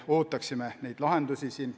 Nii et neid lahendusi me veel ootame.